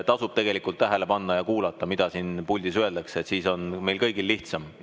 Tasub tähele panna ja kuulata, mida siin puldis öeldakse, siis on meil kõigil lihtsam.